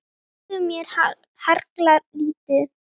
Þeir dugðu mér harla lítið.